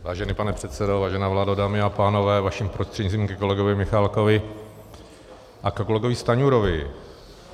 Vážený pane předsedo, vážená vládo, dámy a pánové, vaším prostřednictvím ke kolegovi Michálkovi a ke kolegovi Stanjurovi.